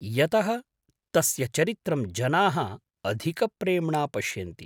यतः तस्य चरित्रं जनाः अधिकप्रेम्णा पश्यन्ति।